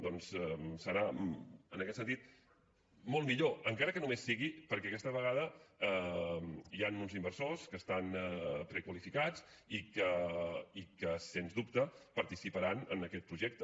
doncs serà en aquest sentit molt millor encara que només sigui perquè aquesta vegada hi han uns inversors que estan prequalificats i que sens dubte participaran en aquest projecte